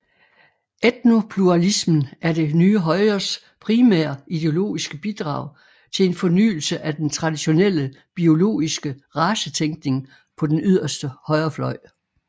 Etnopluralismen er det nye højres primære ideologiske bidrag til en fornyelse af den traditionelle biologiske racetænkning på den yderste højrefløj